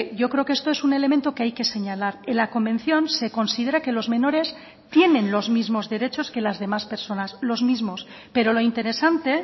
yo creo que esto es un elemento que hay que señalar en la convención se considera que los menores tienen los mismos derechos que las demás personas los mismos pero lo interesante